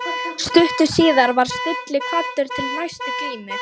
Stuttu síðar var Stulli kvaddur til næstu glímu.